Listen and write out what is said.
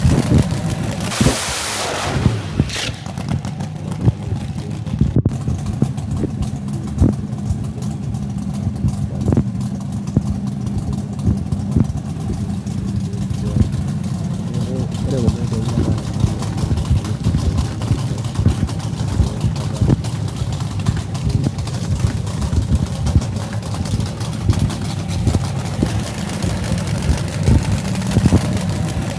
Ore kuna ootoi naatumieki iropiyiani indim oltung'ani anotie eng'eno ooltururi .indiim oltung'ani aisileno olelatia endiim aisilenu iropiyiani te bank nindiim aisilenu te emshuari neeku ore kuna ootoi netaaa ine maana oleng ashu neisadia iltung'anak oleng amu etaa kenyamalu iltung'anak enaake neekukeeta ake iropiyiani naatum adake neeku ore kuna oitou netaa inemaana oleng ,eisaidia iltung'anak oleng.